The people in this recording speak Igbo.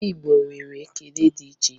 Ndị Igbo nwere ekele dị iche iche